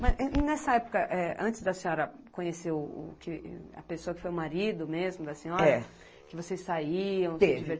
Mas, nessa época, é antes da senhora conhecer o o que a pessoa que foi o marido mesmo da senhora, é, que vocês saíam. Teve